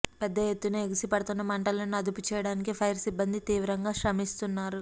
పెద్ద ఎత్తున ఎగిసి పడుతున్న మంటలను అదుపుచేయడానికి ఫైర్ సిబ్బంది తీవ్రంగా శ్రమిస్తున్నారు